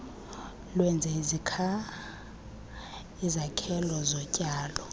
lwenze izakhelo zotyalo